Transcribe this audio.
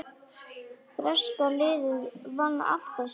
Breska liðið vann alltaf sigur.